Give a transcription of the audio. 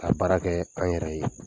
Ka baara kɛ an yɛrɛ ye.